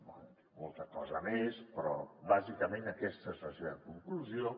bé diu molta cosa més però bàsicament aquesta és la seva conclusió